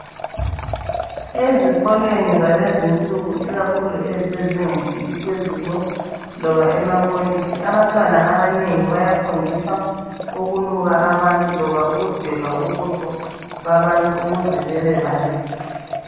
Ezikolweni zalezi nsuku ikakhulu ezise zingeni eliphezulu loba emakolitshi abantwana abanengi bayafundiswa ukuluka abantu loba ukudweba ubuso babantu ukuze bebe bahle.